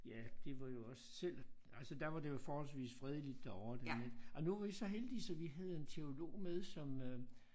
Ja det var jo også selv altså der var det jo forholdsvist fredeligt derovre det ej nu var vi så heldige så vi havde en teolog med som øh